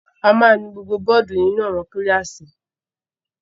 A máa nu gbogbo bọ́ọ́dù inú àwọn kíláàsì.